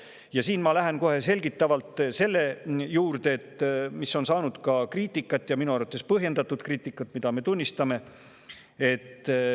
Ja siin ma lähen kohe selgitavalt selle juurde, mis on saanud ka kriitikat, ja minu arvates põhjendatud kriitikat – seda me tunnistame.